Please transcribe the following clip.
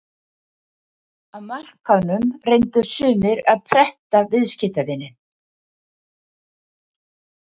Á markaðnum reyndu sumir að pretta viðskiptavininn.